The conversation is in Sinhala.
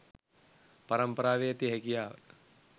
පරම්පරාවේ ඇති හැකියාව